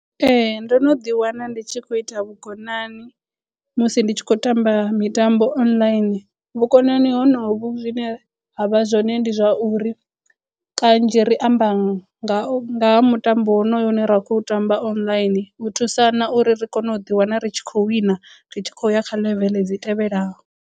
Ee ndo no ḓi wana ndi tshi khou ita vhukonani musi ndi tshi khou tamba mitambo online vhukonani honovhu zwine ha vha zwone ndi zwa uri kanzhi ri amba nga ha mutambo wonoyo une ra khou tamba online u thusana uri ri kone u ḓi wana ri tshi khou wina ri tshi khou ya kha ḽeveḽe dzi tevhelaho.